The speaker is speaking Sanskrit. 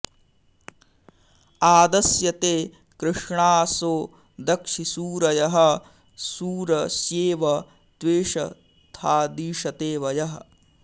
आद॑स्य॒ ते कृ॒ष्णासो॑ दक्षि सू॒रयः॒ शूर॑स्येव त्वे॒षथा॑दीषते॒ वयः॑